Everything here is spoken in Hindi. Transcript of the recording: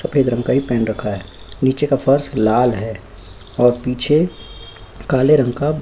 सफेद रंग का ये पहन रखा है नीचे का फर्श लाल है और पीछे काले रंग का --